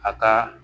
A ka